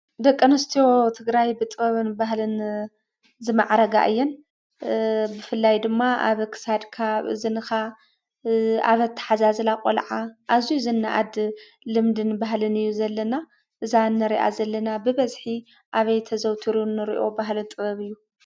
ደቂ ኣንስትዮ ትግራይ ብጥበብን ባህልን ዝማዕረጋ እየን ።ብፍላይ ድማ ኣብ ክሳድካ ፣ኣብ እዝንካ ኣብ ኣተሓዛዝላ ቆልዓ ኣዝዩ ዝነኣድ ልምድን ባህልን እዩ ዘለና እዛ ንሪኣ ዘለና ብበዝሒ ኣበይ ተዘውቲሩ ንሪኦ ባህልን ጥበብን እዩ ?